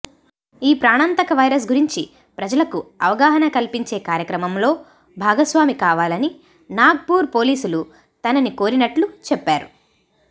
ఈ ప్రాణాంతక వైరస్ గురించి ప్రజలకు అవగాహన కల్పించే కార్యక్రమంలో భాగస్వామి కావాలని నాగపూర్ పోలీసులు తనని కోరినట్లు చెప్పారు